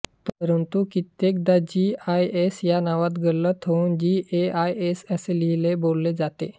परंतु कित्येकदा जीआयएस या नावात गल्लत होउन जीएसआय असे लिहिले बोलले जाते